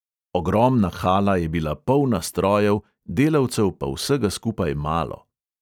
Ogromna hala je bila polna strojev, delavcev pa vsega skupaj malo.